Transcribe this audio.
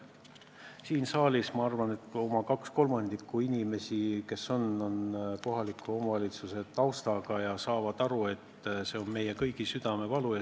Ma arvan, et siin saalis on oma kaks kolmandikku inimestest kohaliku omavalitsuse taustaga ja saavad aru, et see on meie kõigi südamevalu.